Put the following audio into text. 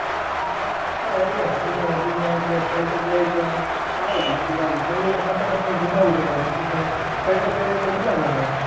હા એ જ ને ઠંડી ઓછી છે એટલે sweater પેરીએ તો સારું બાકી તો ઠંડી માં આમ ખોટે ખોટું સીજાવું પડે બાકી તો sweater પેરીએ તો મજા જ આવે.